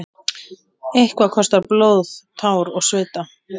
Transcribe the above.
Eitthvað kostar blóð, tár og svita